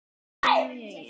Klára á morgun.